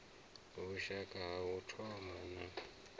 vhushaka ha u thoma na